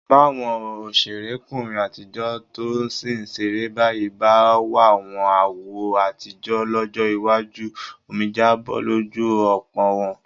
Báwọn òṣèrékùnrin àtijọ́ tó sì ń ṣeré báyìí bá wàwọn àwo àtijọ́ lọ́jọ́ iwájú, omijé á bọ́ lójú ọ̀pọ̀ wọn.